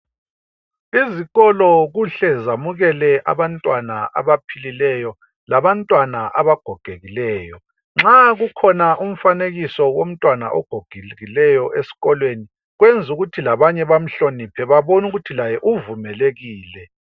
Izikolo kuhle zamukela abantwana abaphilileyo labanye abagogekileyo. Nxa kukhona umfanekiso womntwana ogogekileyo kwenza ukuthi labanye bemhloniphe.